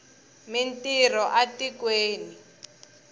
mi ntirho a tikweni